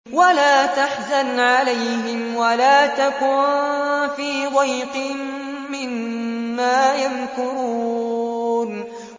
وَلَا تَحْزَنْ عَلَيْهِمْ وَلَا تَكُن فِي ضَيْقٍ مِّمَّا يَمْكُرُونَ